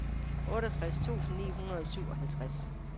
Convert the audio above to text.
otteogtres tusind ni hundrede og syvoghalvtreds